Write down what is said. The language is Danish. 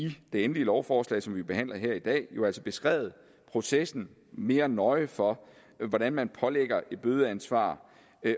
det endelige lovforslag som vi behandler her i dag har jo altså beskrevet processen mere end nøje for hvordan man pålægger et bødeansvar